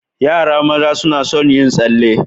Yara maza suna sun yin tsalle.